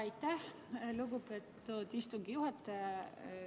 Aitäh, lugupeetud istungi juhataja!